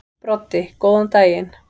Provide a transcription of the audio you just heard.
Broddi: Góðan daginn.